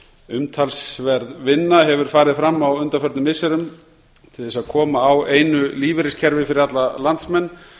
umtalsverð vinna hefur farið fram á undanförnum missirum til þess að koma á einu lífeyriskerfi fyrir alla landsmenn